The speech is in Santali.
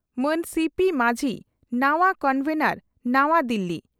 ᱢᱟᱱ ᱥᱤᱹᱯᱤᱹ ᱢᱟᱹᱡᱷᱤ ᱱᱟᱣᱟ ᱠᱚᱱᱵᱷᱮᱱᱚᱨ ᱱᱟᱣᱟ ᱫᱤᱞᱤ